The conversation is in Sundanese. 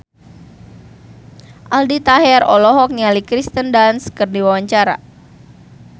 Aldi Taher olohok ningali Kirsten Dunst keur diwawancara